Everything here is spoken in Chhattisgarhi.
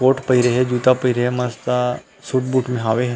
कोट पहीरे हे जूता पहीरे हे ए मस्त सूट बूट में हवे।